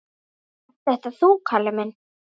Ert þetta þú, Kalli minn?